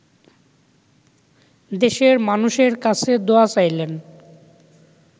দেশের মানুষের কাছে দোয়া চাইলেন